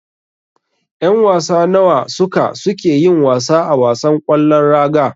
Yan wasa nawa ne suka suke yin wasa a wasan ƙwallon raga.